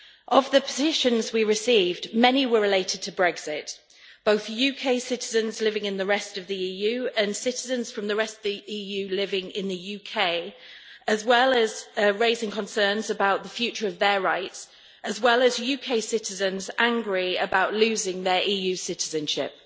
Of the petitions we received, many were related to Brexit, both UK citizens living in the rest of the EU and citizens from the rest of the EU living in the UK, as well as raising concerns about the future of their rights, as well as UK citizens angry about losing their EU citizenship.